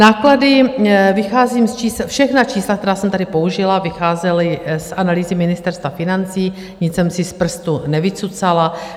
Náklady - vycházím z čísel, všechna čísla, která jsem tady použila, vycházela z analýzy Ministerstva financí, nic jsem si z prstu nevycucala.